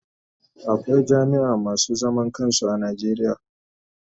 Akwai jami'a masu zaman kansu a Najeriya.